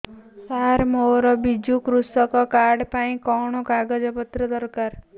ସାର ମୋର ବିଜୁ କୃଷକ କାର୍ଡ ପାଇଁ କଣ କାଗଜ ପତ୍ର ଦରକାର